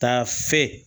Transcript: Taa fe